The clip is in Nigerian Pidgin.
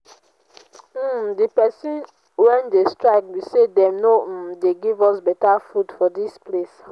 um the reason we dey strike be say dey no um dey give us beta food for dis place